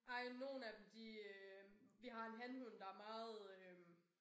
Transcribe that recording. Ej nogle af dem de øh vi har en hanhund der meget øh